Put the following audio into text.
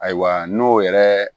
Ayiwa n'o yɛrɛ